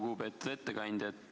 Lugupeetud ettekandja!